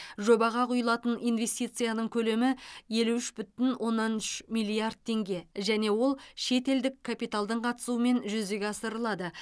жобаға құйылатын инвестицияның көлемі елу үш бүтін оннан үш миллиард теңге және ол шетелдік капиталдың қатысуымен жүзеге асырылады